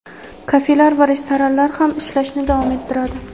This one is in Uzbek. kafelar va restoranlar ham ishlashni davom ettiradi.